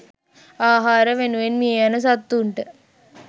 ආහාර වෙනුවෙන් මියයන සත්තුන්ට